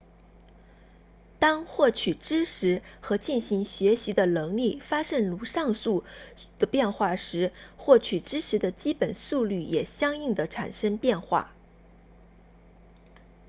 当获取知识和进行学习的能力发生如上所述的变化时获取知识的基本速率也相应地产生变化